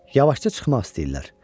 Yavaşca çıxmaq istəyirlər.